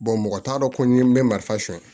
mɔgɔ t'a dɔn ko ni n bɛ marifa ɲɛ